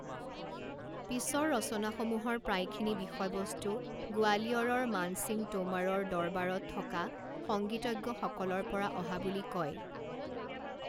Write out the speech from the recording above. পিছৰ ৰচনাসমূহৰ প্ৰায়খিনি বিষয়বস্তু গোৱালিয়ৰৰ মান সিং টোমাৰৰ দৰবাৰত থকা সংগীতজ্ঞসকলৰ পৰা অহা বুলি কয়।